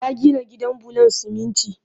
Ya gina gidan bulon siminti